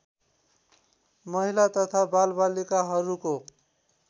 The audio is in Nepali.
महिला तथा बालबालिकाहरूको